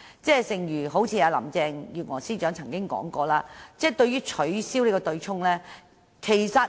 正如林鄭月娥司長說過，政府對取消對沖機制的